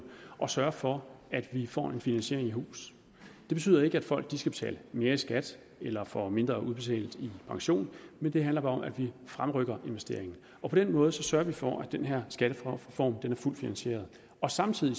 at sørge for at vi får en finansiering i hus det betyder ikke at folk skal betale mere i skat eller får mindre udbetalt i pension det handler bare om at vi fremrykker investeringer på den måde sørger vi for at den her skattereform er fuldt finansieret samtidig